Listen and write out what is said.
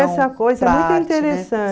essa coisa é muito